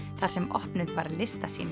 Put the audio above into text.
þar sem opnuð var